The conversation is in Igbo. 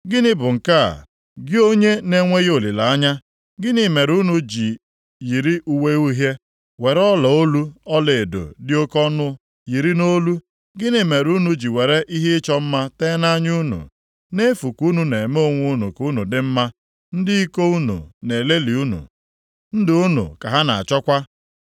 Gịnị bụ nke a, gị onye na-enweghị olileanya? Gịnị mere unu ji yiri uwe uhie, were ọlaolu ọlaedo dị oke ọnụ yiri nʼolu? Gịnị mere unu ji were ihe ịchọ mma tee nʼanya unu? Nʼefu ka unu na-eme onwe unu ka unu dị mma. Ndị iko unu na-elelị unu; ndụ unu ka ha na-achọkwa.